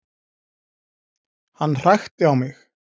Hann hrækti á mig